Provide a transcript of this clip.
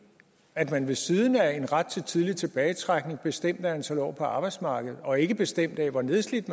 at man ved siden af en ret til tidlig tilbagetrækning bestemt af antal år på arbejdsmarkedet og ikke bestemt af hvor nedslidt